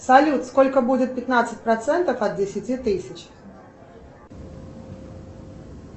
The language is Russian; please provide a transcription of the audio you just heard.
салют сколько будет пятнадцать процентов от десяти тысяч